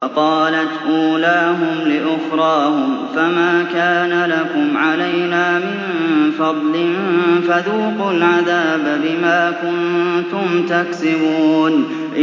وَقَالَتْ أُولَاهُمْ لِأُخْرَاهُمْ فَمَا كَانَ لَكُمْ عَلَيْنَا مِن فَضْلٍ فَذُوقُوا الْعَذَابَ بِمَا كُنتُمْ تَكْسِبُونَ